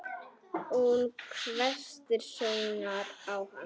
Hún hvessir sjónir á hann.